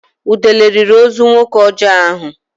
Udele riri ozu nwoke ọjọọ ahụ.